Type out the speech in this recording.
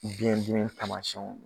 biyɛn dimi taamasiyɛnw ye